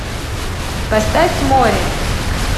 поставь море